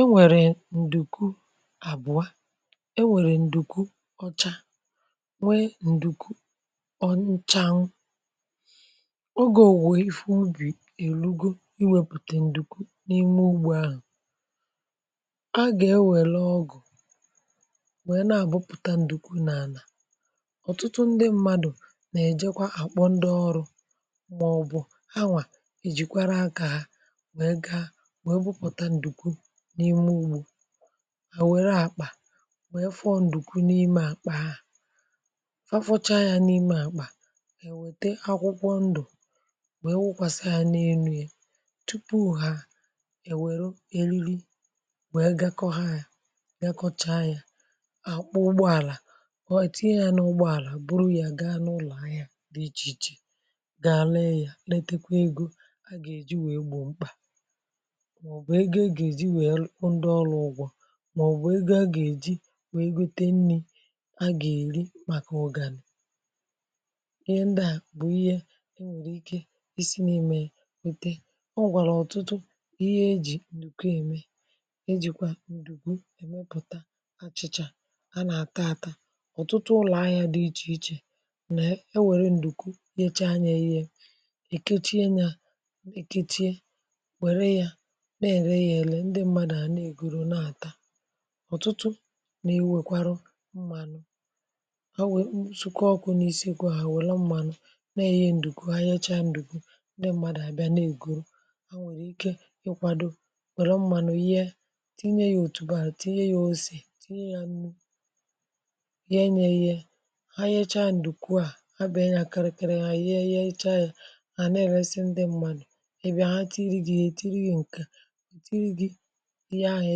enwèrè ǹdùkwu àbụọ enwèrè ǹdùkwu ọcha nwee ǹdùkwu ọnchaa ọgȯ ò nwe ifu ubì èlugo iwepùtè ǹdùkwu n’ime ugbȯ ahụ̀ a gà e wère ọgụ̀ um wee naàbụ pụ̀ta ǹdùkwu n’ànà ọ̀tụtụ ndị mmadù nà-èjekwa àkpọ ndị ọrụ̇ mà ọbụ̀ anwà mà e wụpụta ǹdùkwu n’ime ùgbù à wère àkpà wee fọọ ǹdùkwu n’ime àkpà ha fafọcha ya n’ime àkpà è wète akwụkwọ ndụ̀ wee wụkwasịa n’elu ya tupu ha è wère èlili wee gakọ ha ya gakọcha ya àkpụ ụgbọàlà ọ̀ ètinye ya n’ụgbọàlà bụrụ ya ga n’ụlọ̀ anya dị ichè ichè ga àlee ya letekwa egȯ a gà-èji wee gbò mkpà màọ̀bụ̀ ego ị gà-èji ndị ọrụ ụgwọ̇ màọ̀bụ̀ ego a gà-èji wee gote nni̇ a gà-èri màkà ọ gà ànị̀ ihe um ndị à bụ̀ ihe ndị ikė i si n’imė ya wete ọọ̀wàrà ọ̀tụtụ ihe ejì ǹdùkwu ème ejìkwa ǹdùkwu èmepụ̀ta achị̇chà a nà-àta àta ọ̀tụtụ ụlọ̀ ahịȧ dị ichè ichè nà e were ǹdùkwu ihe echa anya ya eke chie nà èke chie na ẹ̀lẹ yà ẹlẹ ndị mmadù à na ègwùrù na àta ọ̀tụtụ i nwèkwara mmànụ̀ awè nsùkọ ọkụ̇ n’isiekwu hà wẹ̀lọ mmànụ̀ na èghẹ ǹdùkwu ha yẹcha ǹdùkwu ndị mmadù à bịa na ègwùrù ha nwèrè ike ịkwàdò wẹ̀lọ mmànụ̀ ihe tinye yȧ òtù bàrà tinye yȧ ose tinye yȧ nù ye nye ye ha yẹcha ǹdùkwu à ha bù ẹnyẹ akara kẹrẹ ya ihe ye ịchayà à na ẹ̀lẹsị ndị mmànù ẹbẹ ha tirì gì e tirì gì ǹkẹ̀ ihe ahụ̀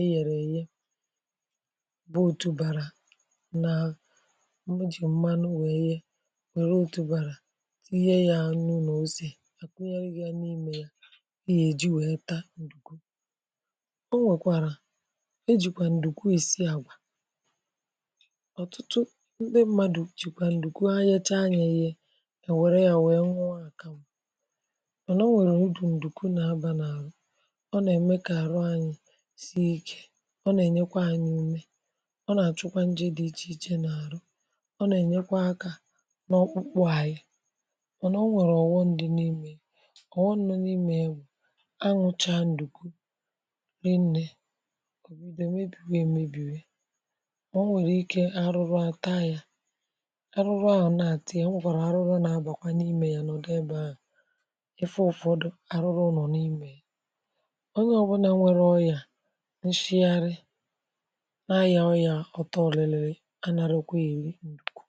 e yèrè èye bụ òtùbàrà nà mụjì mmanụ wèe ye wère òtùbàrà ihe yȧ anụ n’oosì àkụ yȧri yȧ n’imė yȧ n’ihe ji wèe taa ǹdùkwu o nwèkwàrà e jìkwà ǹdùkwu isiì àgwà ọ̀tụtụ ndị mmadụ̀ jìkwà ǹdùkwu anyacha yȧ yė yè wère yȧ wèe nwụọ àkàmụ̀ sie ike ọ nà-ènyekwa ànyị ime ọ nà-àchụkwa njị dị ichè n’àrụ ọ nà-ènyekwa akȧ n’ọkpụkpụ ànyị ọ nà onwèrè ọ̀wọ ndị n’imė onwè n’imė ebù anwụcha ǹdùkwu nille òbìdò mebìghì e mebìghì ọ nwèrè ike arụrụ à taa ya arụrụ ahụ̀ na-àtị ya mwụkwara arụrụ na-agbàkwa n’imė ya n’ọdụ ebe ahụ̀ efe ụ̀fọdụ arụrụ ụ̀nọ n’imė nshịarị nȧ ahị̀a market ọyà ọtọ ọ̀lịlịrị ana rukwe iri nukwu